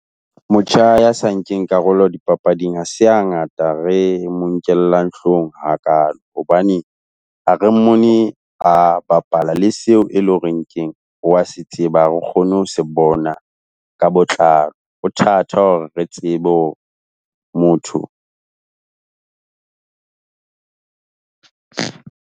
Motjha ya sa nkeng karolo di papading, ha se ha ngata re mo nkellang hloohong hakalo. Hobane ha re mona a bapala, le seo e leng hore keng, o a se tseba, ha re kgone ho se bona ka botlalo, ho thata hore re tsebe ho motho.